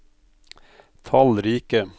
tallrike